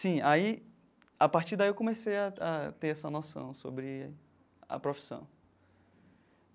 Sim, aí, a partir daí eu comecei a a ter essa noção sobre a profissão.